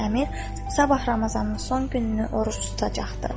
Əmir, Sabah Ramazanın son gününü oruc tutacaqdı.